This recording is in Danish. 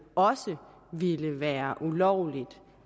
også vil være ulovligt